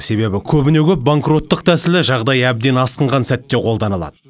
себебі көбіне көп банкроттық тәсілі жағдай әбден асқынған сәтте қолданылады